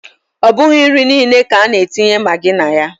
Ọ bụghị nri niile ka a na-etinye magi na ya.